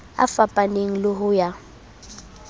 a fapaneng le ho ya